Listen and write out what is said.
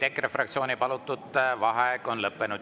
EKRE fraktsiooni palutud vaheaeg on lõppenud.